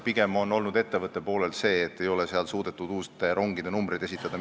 Pigem on seal ettevõtte poolel see mure olnud, et ministeeriumile ei ole suudetud uute rongide numbreid esitada.